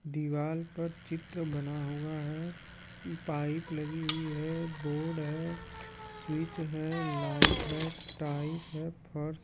दीवाल पर चित्र बना हुआ है पाइप लगी हुई है बोर्ड है स्विच है लाइट है टाइस है फर्श --